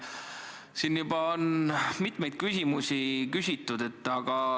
Siin on juba hulk küsimusi küsitud.